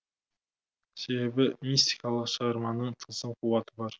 себебі мистикалық шығарманың тылсым қуаты бар